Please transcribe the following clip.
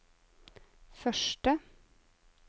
første